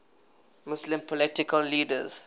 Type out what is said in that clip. muslim political leaders